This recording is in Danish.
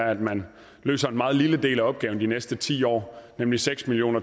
at man løser en meget lille del af opgaven de næste ti år nemlig seks million